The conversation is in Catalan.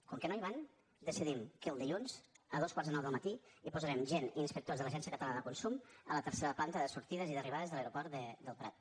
com que no hi van decidim que el dilluns a dos quarts de nou del matí hi posarem gent inspectors de l’agència catalana de consum a la tercera planta de sortides i d’arribades de l’aeroport del prat